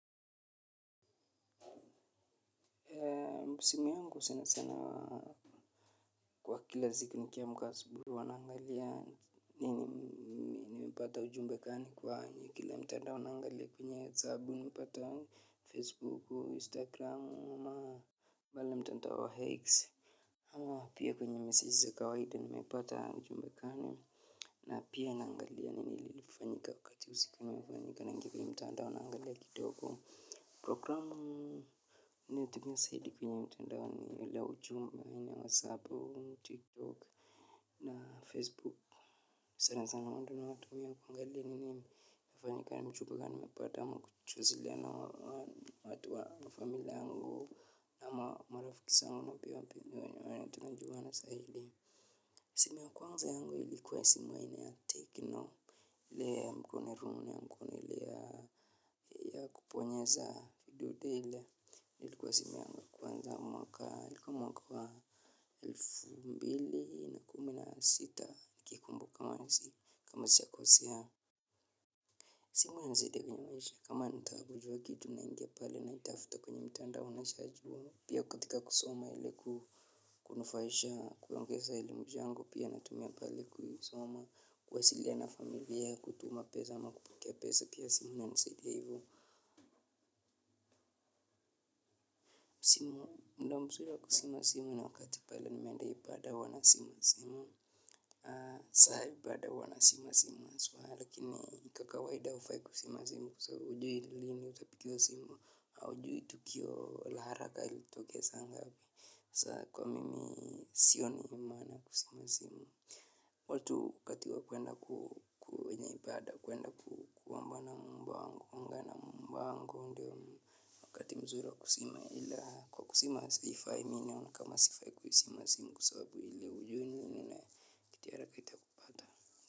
Simu yangu sana sana wa kwa kila siku nikiamka asubuhi huwa naangalia nini nimepata ujumbe gani kwanyi kila mtandao naangalia kwenye WhatsApp unapata Facebooku, Instagramu, pale mtandao wa X. Ama pia kwenye meseji za kawaida nimepata ujumbe kani na pia naangalia nini lilifanyika wakati limefanyika naingia kwenye mtandao naangalia kidogo. Programu naitumia zaidi kwenye mtandao ni ili ya ujumbe, hii ni whatsapp, tiktok, na facebook. Sana sana huo ndo natumia kuangalia ni nini yamefanyika ni ujumbe gani umepata ama kujua na watu wa familia yango. Ama marafiki zangu ama pia wenye tunajua na zaidi. Simu ya kwanza yangu ilikuwa simu ainiaya tecno. Ile ya mkono room yangu. Ile ya kubonyeza kidude ile ilikuwa simu yangu ya kwanza. Mwaka ilikuwa mwaka wa elfu mbili na kumi na sita nikikumbuka nahisi kama sijakosea simu inanisaidia kwenye maisha kama nataka kujua kitu naingia pale naitafuta kwenye mtandao pia katika kusoma ile kunufaisha kuongeza elimu zangu pia naitumia pale kuisoma kuwasiliana na familia kutuma pesa ama kupokea pesa pia simu inanisaidia ivo mda mzuri wa kuzima simu ni wakati pale nimeenda ibada huwa nazima simu. Saa ya ibada huwa nazima simu haswa lakini kwa kawaida hufai kuzima simu kwa sababu hujui lini utapigiwa simu au hujui tukio la haraka ilitokea saa ngapi. Saa kwa mimi sioni maana ya kuzima simu. Watu wakati wa kuenda ku kwenye ibada kuenda kuomba na muumba wangu kuongea na muumba wangu ndio wakati mzuri wa kuzima ila kwa kuzima simu haifai mi naona kama sifai kuizima simu kwa sababu hujui nini kitu ya haraka itakupata.